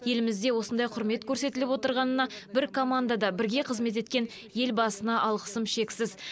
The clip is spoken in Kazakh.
елімізде осындай құрмет көрсетіліп отырғанына бір командада бірге қызмет еткен елбасына алғысым шексіз